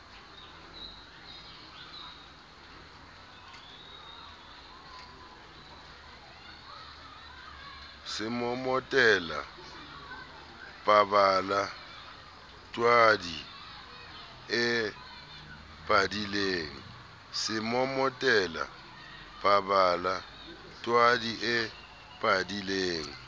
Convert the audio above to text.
semomotela pabala twadi e padileng